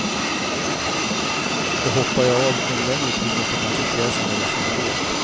Och hoppar jag av en längre tid måste kanske pjäsen läggas ner helt.